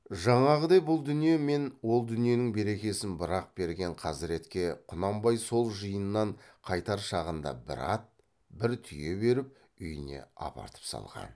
жаңағыдай бұл дүние мен ол дүниенің берекесін бір ақ берген қазіретке құнанбай сол жиыннан қайтар шағында бір ат бір түйе беріп үйіне апартып салған